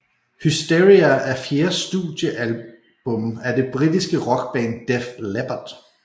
Hysteria er fjerde studieablum af det britiske rockband Def Leppard